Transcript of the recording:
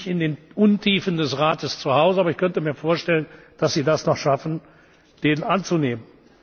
könnte. Ich bin nicht in den Untiefen des Rates zuhause, aber ich könnte mir vorstellen, dass sie das noch schaffen, den anzunehmen.